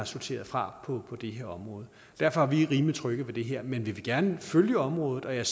sorteret fra på det her område derfor er vi rimelig trygge ved det her men vi vil gerne følge området og jeg